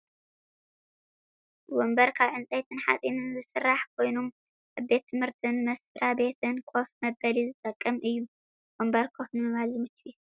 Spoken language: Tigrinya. ወንበር ካብ ዕንፀይትን ሓፂንን ዝስራሕ ኮይኑ ኣብ ቤት ትምህርትን መስራቤትን ኮፍ መበሊ ዝጠቅም እዩ። ወንበር ኮፍ ንምባል ዝምቹ እዩ ።